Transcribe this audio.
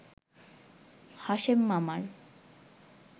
হাশেম মামার